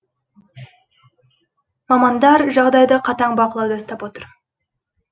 мамандар жағдайды қатаң бақылауда ұстап отыр